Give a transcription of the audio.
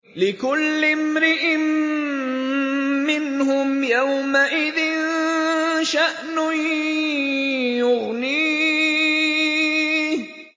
لِكُلِّ امْرِئٍ مِّنْهُمْ يَوْمَئِذٍ شَأْنٌ يُغْنِيهِ